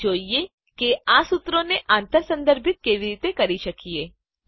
હવે જોઈએ કે આ સુત્રોને આંતર સંદર્ભિત કેવી રીતે કરી શકીએ